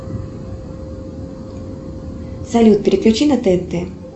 салют переключи на тнт